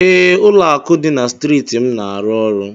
Ee, Ụlọakụ dị na striiti m na-arụ ọrụ.